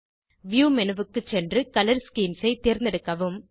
view menu க்கு சென்று colour schemes ஐ தேர்ந்தெடுக்கவும்